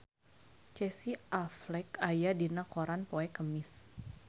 Casey Affleck aya dina koran poe Kemis